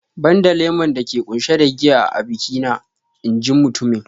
"Banda lemon dake ƙunshe da giya a biki na " in ji mutumin